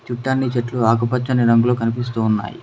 చూడ్డానికి చెట్లు రాకపచ్చని రంగులో కనిపిస్తూ ఉన్నాయి.